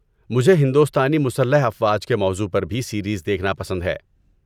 مجھے ہندوستانی مسلح افواج کے موضوع پر بھی سیریز دیکھنا پسند ہے۔